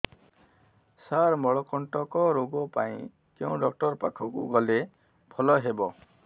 ସାର ମଳକଣ୍ଟକ ରୋଗ ପାଇଁ କେଉଁ ଡକ୍ଟର ପାଖକୁ ଗଲେ ଭଲ ହେବ